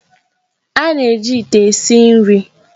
A na-eji ite esi nri.